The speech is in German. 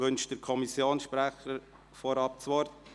Wünscht der Kommissionsprecher vorab das Wort?